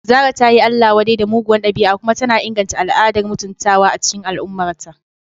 Zarah ta yi Allah-wadai da muguwar dabi'a kuma tana inganta al'adar mutuntawa a cikin al'ummarta.